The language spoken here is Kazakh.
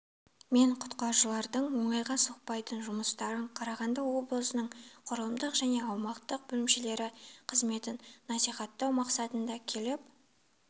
мен құтқарушылардың оңайға соқпайтын жұмыстарын қарағанды облысының құрылымдық және аумақтық бөлімшелері қызметін насихаттау мақсатында келіп